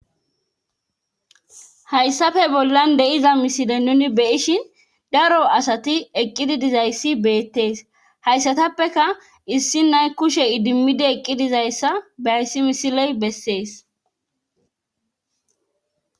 hayssafe bollan de7iza misile nuni beyishin daro asati eqqidi dizayssi beettees hayssatappeka issi nay kushe idimmidi eqqi dizayssa behayssi misiley bessees